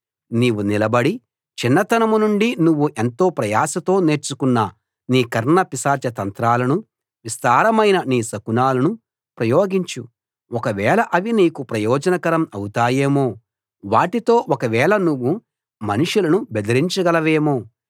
నీవు నిలబడి చిన్నతనం నుండి నువ్వు ఎంతో ప్రయాసతో నేర్చుకున్న నీ కర్ణపిశాచ తంత్రాలను విస్తారమైన నీ శకునాలను ప్రయోగించు ఒకవేళ అవి నీకు ప్రయోజనకరం అవుతాయేమో వాటితో ఒకవేళ నువ్వు మనుషులను బెదరించగలవేమో